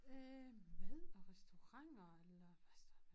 Øh mad og restauranter eller hvad står der